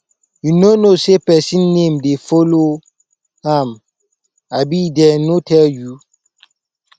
you no know say person name dey follow am abi dey no tell you